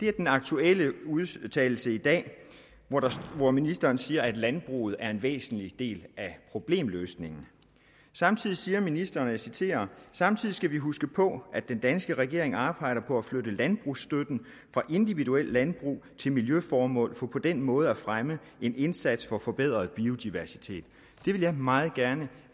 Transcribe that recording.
er den aktuelle udtalelse i dag hvor ministeren siger at landbruget er en væsentlig del af problemløsningen samtidig siger ministeren og jeg citerer samtidig skal vi huske på at den danske regering arbejder på at flytte landbrugsstøtten fra individuelle landbrug til miljøformål for på den måde at fremme en indsats for forbedret biodiversitet det vil jeg meget gerne